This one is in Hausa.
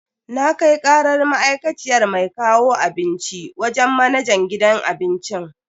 Na kai karar ma'aikaciyar mai kawo abinci wajen manajan gidan abincin.